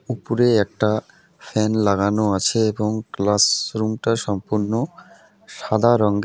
উপরে একটা ফ্যান লাগানো আছে এবং ক্লাসরুম -টা সম্পূর্ণ সাদা রঙ্গের।